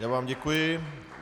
Já vám děkuji.